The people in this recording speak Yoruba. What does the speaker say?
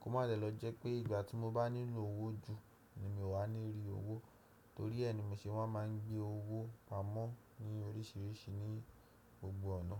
kó má dè lọ jẹ́ pé ìgbà tí mo bá nílò owó jù ni mi o wà ní rí owó torí ẹ ni mo ṣe máa ń gbé owó pamọ́ ní oríṣìíríṣìí ní gbogbo ọ̀nà.